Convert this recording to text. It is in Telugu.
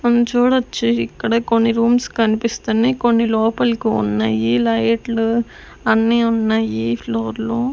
మనం చూడొచ్చు ఇక్కడే కొన్ని రూమ్స్ కనిపిస్తున్నాయి కొన్ని లోపలికి ఉన్నాయి లైట్లు అన్ని ఉన్నాయి ఫ్లోర్లో .